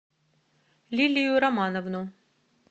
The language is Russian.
лилию романовну